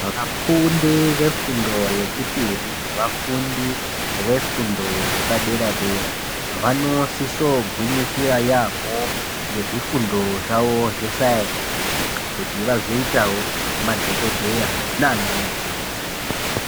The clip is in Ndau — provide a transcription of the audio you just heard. Vafundi vefundo yechipiri nevafundi vefundo yepadera dera vanosisogwinyisira yaamho ngezvifundo zvavo zvesainzi kuti vazoitawo madhokodheya nanamukoti.